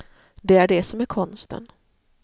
Det är det som är konsten.